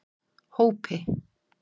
Hópi